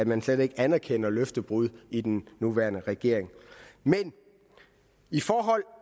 man slet ikke anerkender løftebrud i den nuværende regering men